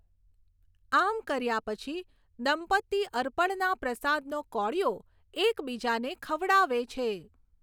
આમ કર્યા પછી, દંપતિ અર્પણના પ્રસાદનો કોળિયો એકબીજાને ખવડાવે છે.